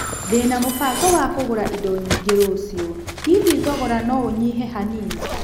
Ndĩna na mũbago wa kũgũra indo nyingĩ rũciũ, hihi thogora no nyĩhe hanini?